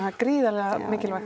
gríðarlega mikilvægt